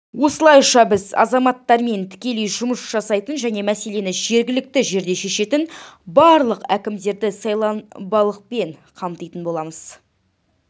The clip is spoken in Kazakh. осылайша біз азаматтармен тікелей жұмыс жасайтын және мәселені жергілікті жерде шешетін барлық әкімдерді сайланбалылықпен қамтитын боламыз